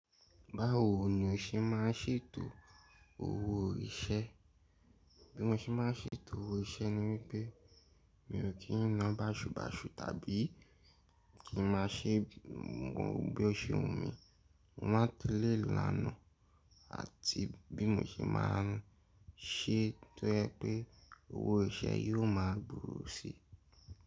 Báwo ni o ṣe ma ń ṣètò owó iṣẹ́? Bí mo ṣe ma ń ṣètò owó iṣẹ́ ni wípẹ́ mi ò kí n ná basubasu tàbí kí n má ṣe mu bí ó ṣe wù mí. Mo máa tẹ̀lé ìlànà àti bí mo ṣe má a ń ṣe tó jẹ̀ pé owó iṣẹ́ yóò máa gbòòrò si.